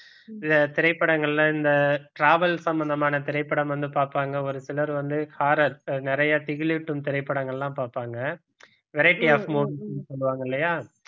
இந்த திரைப்படங்கள்ல இந்த travel சம்பந்தமான திரைப்படம் வந்து பார்ப்பாங்க ஒரு சிலர் வந்து horror நிறைய திகிலூட்டும் திரைப்படங்கள் எல்லாம் பார்ப்பாங்க variety of mood ன்னு சொல்லி சொல்லுவாங்க இல்லையா